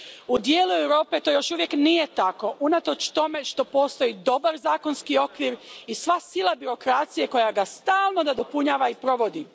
U dijelu Europe to još uvijek nije tako unatoč tome što postoji dobar zakonski okvir i sva sila birokracije koja ga stalno nadopunjava i provodi.